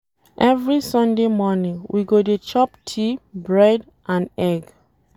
Every Sunday morning, we go dey chop tea, bread and egg.